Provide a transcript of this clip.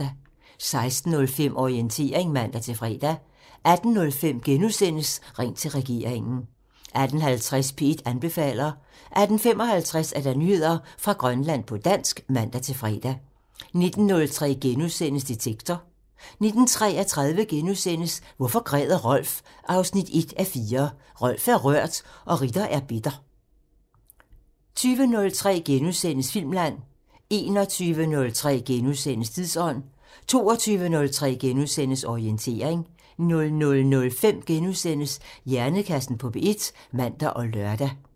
16:05: Orientering (man-fre) 18:05: Ring til regeringen *(man) 18:50: P1 anbefaler (man-fre) 18:55: Nyheder fra Grønland på dansk (man-fre) 19:03: Detektor *(man) 19:33: Hvorfor græder Rolf? 1:4 – Rolf er rørt og Ritter er bitter * 20:03: Filmland *(man) 21:03: Tidsånd *(man) 22:03: Orientering *(man-fre) 00:05: Hjernekassen på P1 *(man og lør)